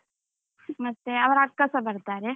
ಮತ್ತೆ ಅವರ ಅಕ್ಕಸ ಬರ್ತಾರೆ.